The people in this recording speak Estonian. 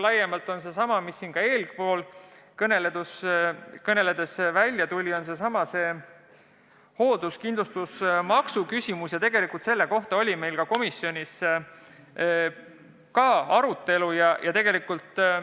See on sama võimalus, millest täna siin juba juttu oli: see on seesama hoolduskindlustusmaks.